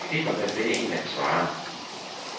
Det kniber med et finde en, der kan svare.